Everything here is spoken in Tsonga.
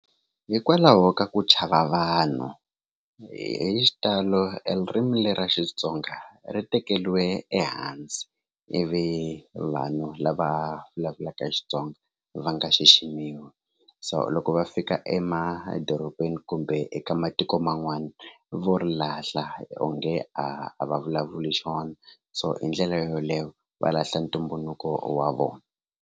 Hikwalaho ka ku chava vanhu hi xitalo elirimi le ra Xitsonga ri tekeriwe ehansi ivi vanhu lava vulavulaka Xitsonga va nga xiximiwi so loko va fika emadorobeni kumbe eka matikoman'wana vo ri lahla onge a va vulavuli xin'wana so hi ndlela yoleyo va lahla ntumbuluko wa vona.